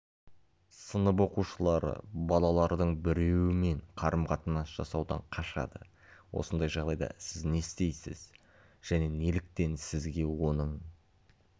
сынып оқушылары балалардың біреуімен қарым-қатынас жасаудан қашады осындай жағдайда сіз не істейсіз және неліктен сізге оның